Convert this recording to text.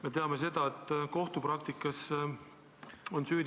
Me teame seda, et kohtupraktikas on süüdimatu see inimene ...